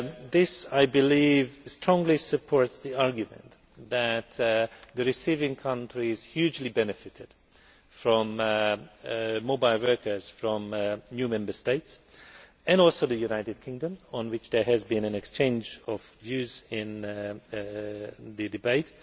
This I believe strongly supports the argument that the receiving countries hugely benefited from mobile workers from new Member States, and also the United Kingdom, on which there has been an exchange of views in the debate.